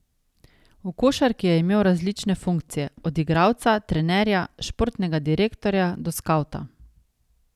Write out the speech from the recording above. V košarki je imel različne funkcije, od igralca, trenerja, športnega direktorja do skavta.